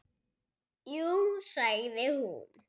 Jú sagði hún.